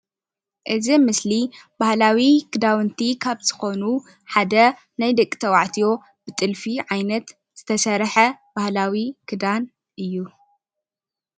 እዚ ምስሊ ባህላዊ ክዳውንቲ ካብ ዝኮኑ ሓደ ናይ ደቂ ተባዕትዮ ናይ ብጥልፊ ዓይነት ዝተሰርሐ ባህላዊ ክዳን እዩ፡፡